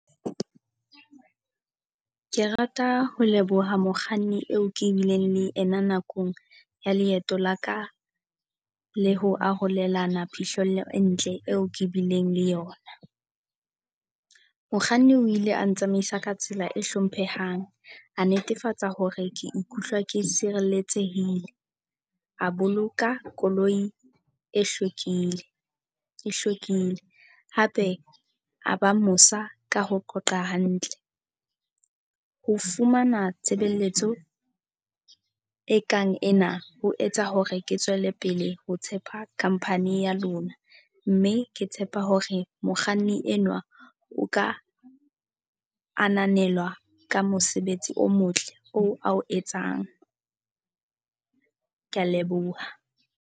Ke rata ho leboha mokganni eo ke bileng le ena nakong ya leeto la ka le ho arolelana phihlello e ntle eo ke bileng le yona. Mokganni o ile a ntsamaisa ka tsela e hlomphehang, a netefatsa hore ke ikutlwa ke sireletsehile, A boloka koloi e hlwekile e hlwekile. Hape a ba mosa, ka ho qoqa hantle. Ho fumana tshebeletso ekang ena ho etsa hore ke tswele pele ho tshepa company ya lona, mme ke tshepa hore mokganni enwa o ka ananelwa ka mosebetsi o motle oo a o etsang. Ke a leboha.